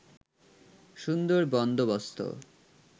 সুন্দর বন্দোবস্ত